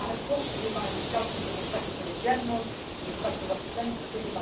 lead. I have pushed through my discussions with the Secretary General and the Special Representative.